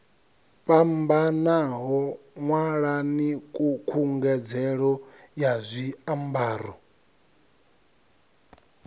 fhambanaho ṅwalani khungedzelo ya zwiambaro